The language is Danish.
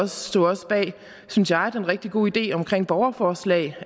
stod også bag synes jeg den rigtig gode idé om borgerforslag